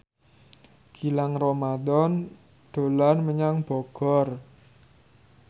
Gilang Ramadan dolan menyang Bogor